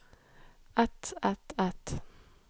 et et et